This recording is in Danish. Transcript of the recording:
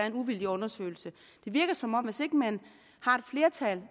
en uvildig undersøgelse det virker som om man hvis ikke man har et flertal